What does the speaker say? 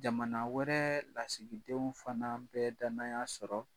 Jamana wɛrɛ lasigidenw fana bɛ danaya sɔrɔ